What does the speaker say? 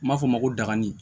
N b'a f'o ma ko dagani